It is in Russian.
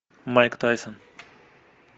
майк тайсон